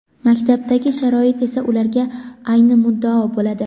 Maktabdagi sharoit esa ularga ayni muddao bo‘ladi.